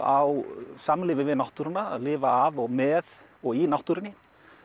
á samlífi við náttúruna að lifa af og með og í náttúrunni